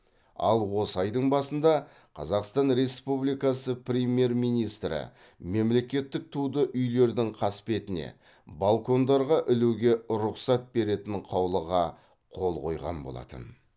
ал осы айдың басында қазақстан республикасы премьер министрі мемлекеттік туды үйлердің қасбетіне балкондарға ілуге рұқсат беретін қаулыға қол қойған болатын